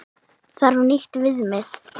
Þarf nýtt viðmið?